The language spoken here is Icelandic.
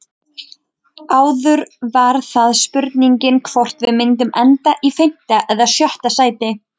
Áður var það spurningin hvort við myndum enda í fimmta eða sjötta sæti.